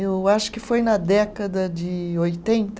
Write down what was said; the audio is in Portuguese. Eu acho que foi na década de oitenta?